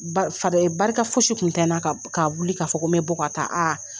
Fa barika fosi tun tɛ n na k'a wuli k'a fɔ n bɛ bɔ ka taa aa